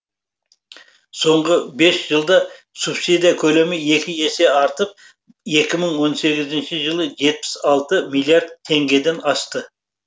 соңғы бес жылда субсидия көлемі екі есеге артып екі мың он сегізінші жылы жетпіс алты миллиард теңгеден асты